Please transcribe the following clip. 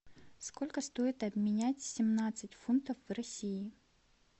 сколько стоит обменять семнадцать фунтов в россии